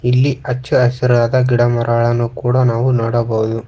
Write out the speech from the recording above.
ಇಲ್ಲಿ ಅಚ್ಚ ಹಸಿರಾದ ಗಿಡಮರಗಳನ್ನು ಕೂಡ ನಾವು ನೋಡಬಹುದು.